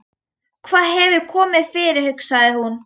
Hvað hefur komið fyrir, hugsaði hún.